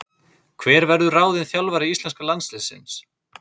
Hver verður ráðinn þjálfari íslenska landsliðsins?